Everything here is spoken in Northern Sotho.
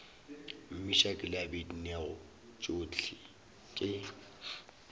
meshack le abednego tšohle ke